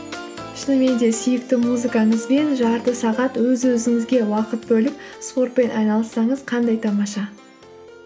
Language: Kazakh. шынымен де сүйікті музыкаңызбен жарты сағат өз өзіңізге уақыт бөліп спортпен айналыссаңыз қандай тамаша